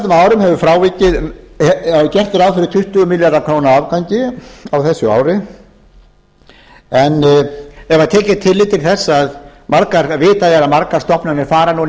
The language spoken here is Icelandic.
króna og gert er ráð fyrir tuttugu milljarða króna afgangi á þessu ári en ef tekið er tillit til þess að vitað er að margar stofnanir fara núna inn